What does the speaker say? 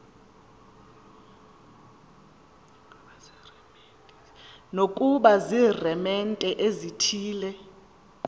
nokuba ziiremente ezithile